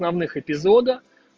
главных эпизода